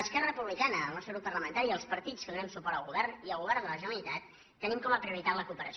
esquerra republicana el nostre grup parlamentari i els partits que donem suport al govern i el govern de la generalitat tenim com a prioritat la cooperació